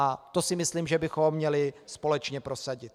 A to si myslím, že bychom měli společně prosadit.